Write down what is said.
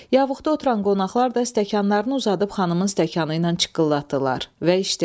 Yavuqda oturan qonaqlar da stəkanlarını uzadıb xanımın stəkanı ilə çıqqıllatdılar və içdilər.